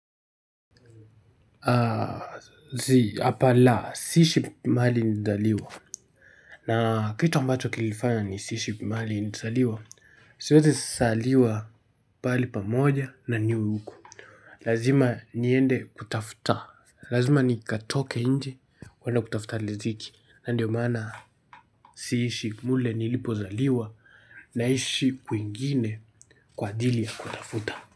Zii hapa la siishi mahali nilizaliwa na kitu ambacho kilifanya nisiishi mahali nilizaliwa siwezi zaliwa pali pamoja na niwe huku lazima niende kutafuta lazima nikatoke nje kwenye kutafuta riziki na ndio maana siishi mle nilipozaliwa. Naishi kwingine kwa ajili ya kutafuta.